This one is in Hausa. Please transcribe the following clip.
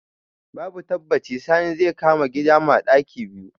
Babu tabbaci Sani zai kama gida ma ɗaki biyu.